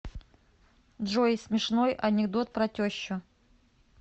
джой смешной анекдот про тещу